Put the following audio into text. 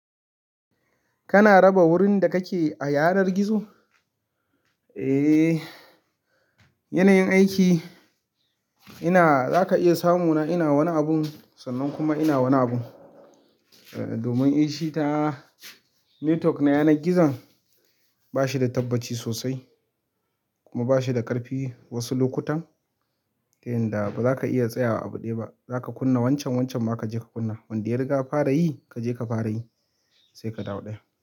Kana raba wurin da kake a yanar gizo? Eh, yanayin aiki ina za ka iya samo na ina wani abun sannan kuma ina wani abun. Domin ita network na yanar gizon ba shi da tabbaci sosai kuma ba shi da ƙarfi wasu lokutan, ta yanda ba za ka iya tsayawa abu dai ba. Za ka kunna wancan wancan ma ka je ka kunna, wanda ya riga fara yi ka je ka fara yi sai ka dawo ɗaya.